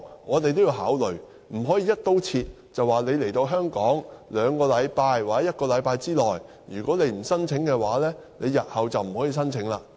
我們也要考慮這些情況，而不能"一刀切"規定他們來到香港兩星期或一星期之內提出申請，否則日後不能提出申請。